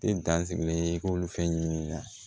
Te dan sigilen i k'olu fɛn ɲinini na